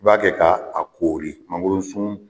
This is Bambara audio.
I b'a kɛ ka a koori mangoro sun